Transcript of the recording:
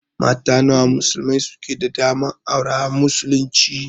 Mata nawa musulmai suke da daman aura a muslunci?